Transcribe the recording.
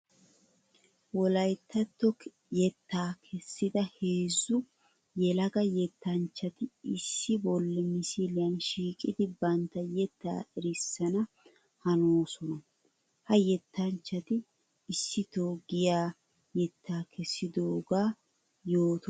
Wolayttato yetta kessidda heezzu yelaga yettanchchatti issi bolla misiliyan shiiqiddi bantta yetta erissana hanossonna. Ha yettanchchatti isitto giya yetta kessidoga yootosonna.